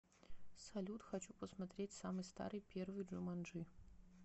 салют хочу посмотреть самый старый первый джуманджи